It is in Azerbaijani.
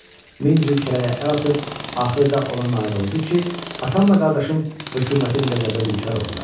Min cür kələyə əl atıb axırda ona nail oldu ki, atamla qardaşım hökumətin qəzəbinə düçar oldular.